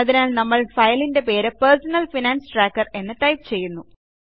അതിനാൽ നമ്മൾ ഫയലിൻറെ പേര് പെർസണൽ ഫൈനാൻസ് ട്രാക്കർ എന്ന് ടൈപ്പ് ചെയ്യുന്നു